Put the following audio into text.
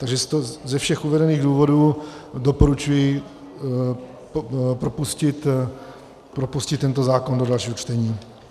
Takže ze všech uvedených důvodů doporučuji propustit tento zákon do dalšího čtení.